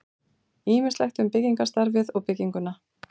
Ýmislegt um byggingarstarfið og bygginguna.